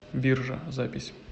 биржа запись